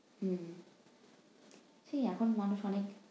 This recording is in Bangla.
হুম, সেই এখন মানুষ অনেক